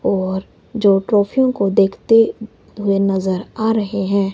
और जो ट्राफियों को देखते हुए नजर आ रहे हैं।